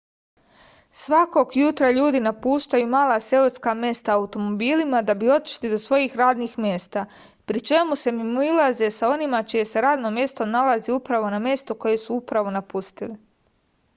svakog jutra ljudi napuštaju mala seoska mesta automobilima da bi otišli do svojih radnih mesta pri čemu se mimoilaze sa onima čije se radno mesto nalazi upravo na mestu koje su upravo napustili